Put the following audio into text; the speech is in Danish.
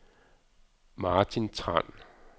Martin Tran